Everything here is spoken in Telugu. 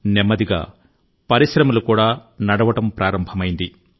నెమ్మదిగా పరిశ్రమలు కూడా నడపడం ప్రారంభమైంది